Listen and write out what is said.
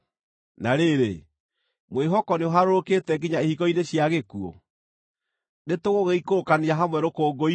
Na rĩrĩ, mwĩhoko nĩũharũrũkĩte nginya ihingo-inĩ cia gĩkuũ? Nĩtũgũgĩikũrũkania hamwe rũkũngũ-inĩ?”